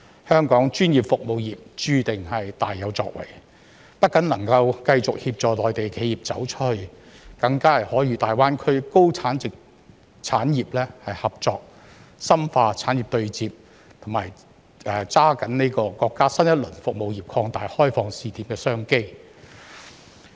香港專業服務業注定大有作為，不僅能繼續協助內地企業"走出去"，更可與大灣區高價值產業合作，深化產業對接，並抓緊國家新一輪服務業擴大開放試點的商機。